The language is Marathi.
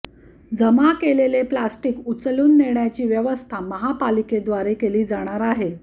जमा केलेले प्लॅस्टिक उचलून नेण्याची व्यवस्था महापालिकेद्वारे केली जाणार आहे